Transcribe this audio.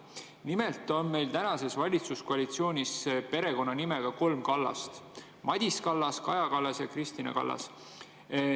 Nimelt on meil tänases valitsuskoalitsioonis kolm Kallast: Madis Kallas, Kaja Kallas ja Kristina Kallas.